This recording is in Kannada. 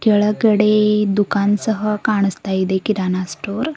ಕೆಳಗಡೆ ದುಖಾನ್ ಸಹ ಕಾಣಸ್ತಾ ಇದೆ ಕಿರಾಣ ಸ್ಟೋರ್ --